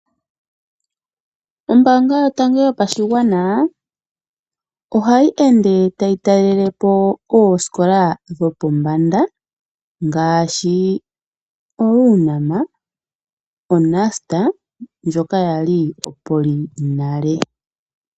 Ombaanga yotango yopashigwana ohayi ende tayi talele po oosikola dhopombanda ngaashi oUnam , oNust ndjoka yali oPolytechnic nale.